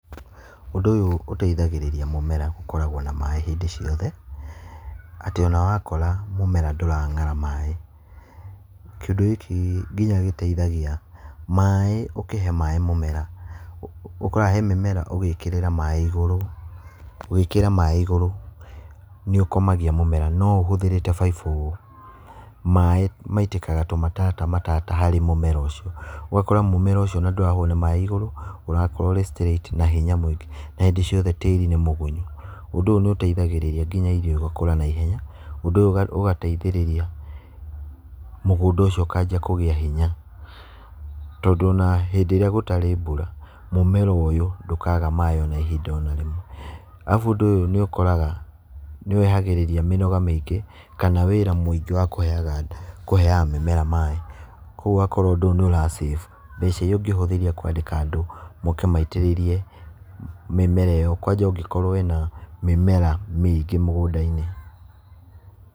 Ũndũ ũyũ ũteithagĩrĩria mũmera gũkoragwo na maĩ hĩndĩ ciothe, atĩ ona wakora mũmera ndũrang'ara maĩ. Kĩũndũ gĩkĩ nginya gĩteithagia maĩ ũkĩhe maĩ mũmera, ũkoraga he mĩmera ũgĩkĩrĩra maĩ igũrũ, wĩkĩre maĩ igũrũ nĩ ũkomagia mũmera, no ũhũthĩrĩte baibũ, maĩ maitĩkaga tũmatata matata harĩ mũmera ũcio. Ũgakora mũmera ũcio ona ndũroywo nĩ maĩ igũrũ ũrakorwo ũrĩ straight na hinya mũingĩ na hĩndĩ ciothe tĩĩri nĩ mũgunyu. Ũndũ ũyũ nĩ ũteithagĩrĩria nginya irio igakũra naihenya, ũndũ ũyũ ũgateithĩrĩria mũgũnda ũcio ũkanjia kũgĩa hinya, tondũ ona hĩndĩ ĩrĩa gũtarĩ mbura, mũmera ũyũ ndũkaaga maĩ ona ihinda o na rĩmwe. Arabu ũndũ ũyũ nĩ ũkoraga nĩwehagĩrĩria mĩnoga mĩingĩ, kana wĩra mũingĩ wa kũheaga mĩmera maĩ. Koguo ũgakora ũndũ ũyũ nĩ ũra save mbeca irĩa ũngĩhũthĩria kũandĩka andũ moke maitĩrĩrie mĩmera ĩyo, kwanja ũngĩkorwo wĩ na mĩmera mĩingĩ mũgũnda-inĩ.